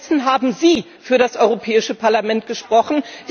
Stattdessen haben Sie für das Europäische Parlament gesprochen.